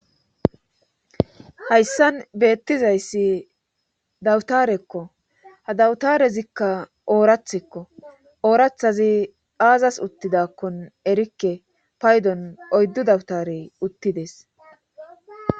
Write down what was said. Hayssan beettiza issi dawutarakko. Ha dawutarezikka oorathakko. oorathazi aazas uttidakkon erikke paydon oyddu dawutarey uttides.